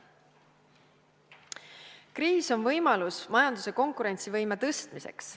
Kriis on võimalus majanduse konkurentsivõime tõstmiseks.